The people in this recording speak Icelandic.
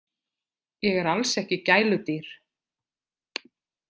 Ég er alls ekki gæludýr.